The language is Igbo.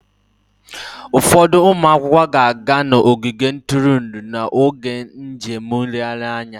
Ụfọdụ ụmụ akwụkwọ ga-aga n'ogige ntụrụndụ n'oge njem nlegharị anya